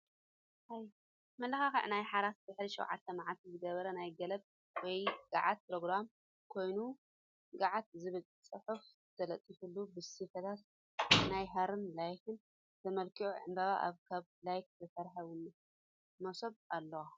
መመላክዒ ናይ ሓራስ ደሕሪ ሸዉዓተ ማዓልታ ዝግበር ናይ ግለብ ውይ ጋዓት ፕሮግራም ኮይኑ ግዓት ዝብል ፅሑፍ ተለጢፉሉ ብስፈታት ናይ ሃሪን ላካን ተመላኪዑ ዕምበባ ኣብ ካብ ላካ ዝተስርሐ መሶብ ኣሎ።